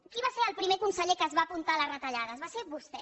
qui va ser el primer conseller que es va apuntar a les retallades va ser vostè